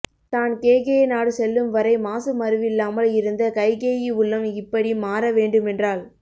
தான் கேகய நாடு செல்லும் வரை மாசு மறுவில்லாமல் இருந்த கைகேயி உள்ளம் இப்படி மாற வேண்டுமென்றால்